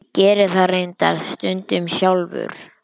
Ég geri það reyndar stundum sjálfur.